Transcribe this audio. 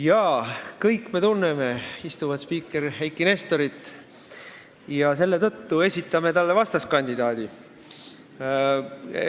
Jaa, kõik me tunneme praegust spiikrit Eiki Nestorit ja selle tõttu esitame talle vastaskandidaadi.